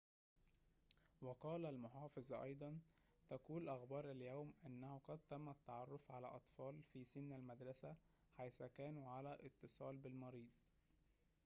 وقال المحافظ أيضاً تقول أخبار اليوم أنه قد تم التعرف على أطفال في سن المدرسة حيث كانوا على اتصال بالمريض